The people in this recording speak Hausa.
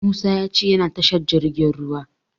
Musa ya ce yana tashar jirgin ruwa.